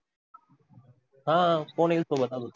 हा कोण येईल सोबत अजून?